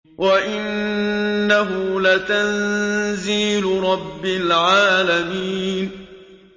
وَإِنَّهُ لَتَنزِيلُ رَبِّ الْعَالَمِينَ